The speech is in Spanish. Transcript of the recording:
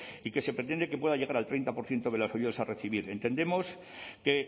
y que se pretende que pueda llegar al treinta por ciento de las ayudas a recibir entendemos que